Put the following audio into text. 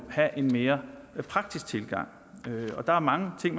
have en mere praktisk tilgang og der er mange ting